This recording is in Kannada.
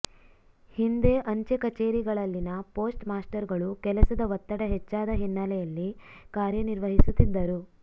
ಹಿಂದೆ ಅಂಚೆ ಕಚೇರಿಗಳಲ್ಲಿನ ಪೋಸ್ಟ್ ಮಾಸ್ಟರ್ಗಳು ಕೆಲಸದ ಒತ್ತಡ ಹೆಚ್ಚಾದ ಹಿನ್ನೆಲೆಯಲ್ಲಿ ಕಾರ್ಯ ನಿರ್ವಹಿಸುತ್ತಿದ್ದರು